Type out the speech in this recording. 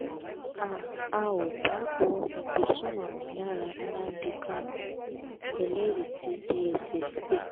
a a ò bá ohun ìgbésùmọ̀mí lára nnamdi kanu -eléríì ti dss pé